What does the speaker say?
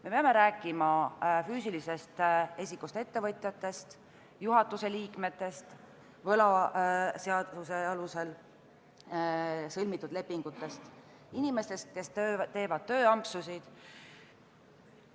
Me peame rääkima füüsilisest isikust ettevõtjatest, juhatuse liikmetest, võlaseaduse alusel sõlmitud lepingutest ja inimestest, kes teevad tööampsusid.